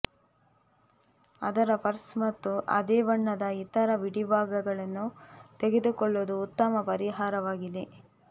ಅದರ ಪರ್ಸ್ ಮತ್ತು ಅದೇ ಬಣ್ಣದ ಇತರ ಬಿಡಿಭಾಗಗಳನ್ನು ತೆಗೆದುಕೊಳ್ಳುವುದು ಉತ್ತಮ ಪರಿಹಾರವಾಗಿದೆ